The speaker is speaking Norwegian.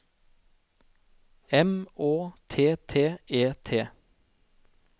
M Å T T E T